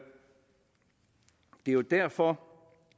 jo derfor